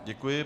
Děkuji.